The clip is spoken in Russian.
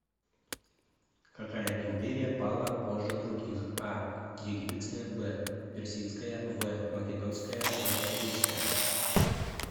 какая империя пала позже других а египетская б персидская в македонская в римская